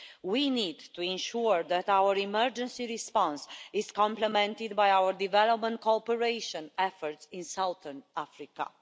We need to ensure that our emergency response is complemented by our development cooperation efforts in southern Africa.